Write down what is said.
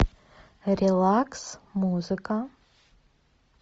релакс музыка